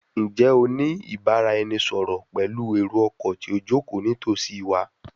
Njẹ o ni ibaraẹnisọrọ pẹlu ero-ọkọ ti o joko nitosi wa?